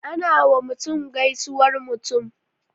Ana wa mutum gaisuwar mutum